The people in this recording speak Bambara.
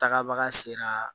Tagabaga sera